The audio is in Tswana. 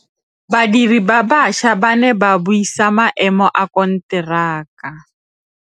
Badiri ba baša ba ne ba buisa maêmô a konteraka.